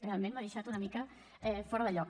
realment m’ha deixat una mica fora de lloc